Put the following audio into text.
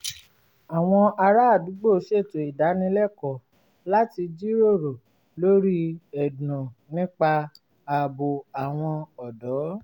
àwọn ará àdúgbò ṣètò idanilẹ́kọ̀ọ́ láti jíròrò lórí ẹ̀dùn nípa ààbò àwọn ọ̀dọ́